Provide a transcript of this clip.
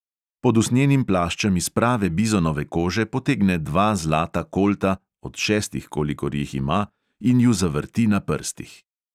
Pod usnjenim plaščem iz prave bizonove kože potegne dva zlata kolta, od šestih, kolikor jih ima, in ju zavrti na prstih.